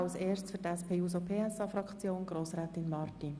Zuerst spricht für die SP-JUSO-PSA-Fraktion Grossrätin Marti.